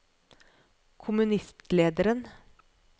kommunistlederen